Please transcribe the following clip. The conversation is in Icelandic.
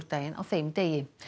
sigurdaginn á þeim degi